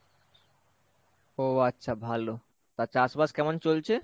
ও আচ্ছা ভালো, তা চাষবাস কেমন চলছে?